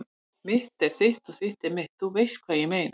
Mitt er þitt og þitt er mitt- þú veist hvað ég meina.